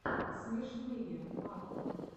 смешные батл